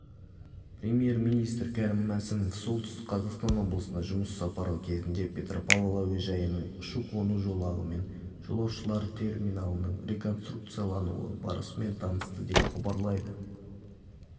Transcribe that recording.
премьер-министрі кәрім мәсімов солтүстік қазақстан облысына жұмыс сапары кезінде петропавл әуежайының ұшу-қону жолағы мен жолаушылар терминалының реконструкциялануы барысымен танысты деп хабарлайды